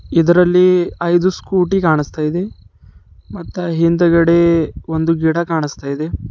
ಇದರಲ್ಲಿ ಐದು ಸ್ಕೂಟಿ ಕಾಣಿಸ್ತಾ ಇದೆ ಮತ್ತೆ ಹಿಂದ್ಗಡೆ ಒಂದು ಗಿಡ ಕಾಣಿಸ್ತಾ ಇದೆ.